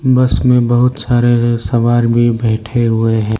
बस में बहुत सारे सवार भी बैठे हुए हैं।